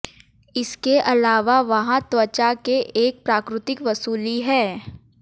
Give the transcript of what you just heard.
इसके अलावा वहाँ त्वचा के एक प्राकृतिक वसूली है